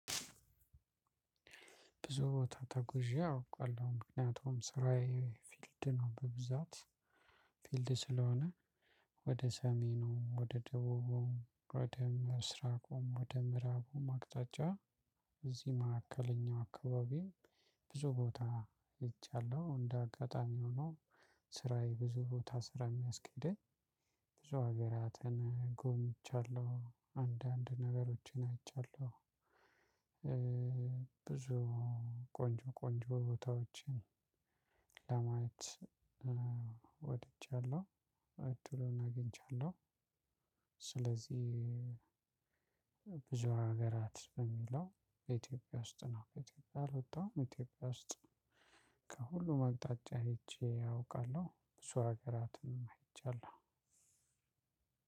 ብዙ ቦታ ተጉዤ አውቃለሁ ምክንያቱም ስራዬ ፊልድ ነው በብዛት ፊልድ ስለሆነ። ወደ ሰሜኑ ወደ ደቡቡም ወደ ምስራቁም ወደ ምዕራቡም አቅጣጫ። እዚህ መካከለኛ አካባቢም። ብዙ ቦታ ሄጃለሁ እንደ አጋጣሚ ሆኖ ስራዬ ብዙ ቦታ ስራ የሚያስኬደኝ ብዙ ሀገራትን ጎብኝቻለሁ አንዳንድ ነገሮችን አይቻለሁ። ብዙ ቆንጆ ቆንጆ ቦታዎችን ለማየት ወድጃለሁ እድሉን አግኝቻለሁ። ስለዚህ ብዙ ሀገራት በሚለው በኢትዮጵያ ውስጥ ነው ኢትዮጵያ ያልወጣውም ኢትዮጵያ ውስጥ። ከሁሉም አቅጣጫ አይቼ አውቃለሁ እሱ ሀገራትንም አይቻለሁ።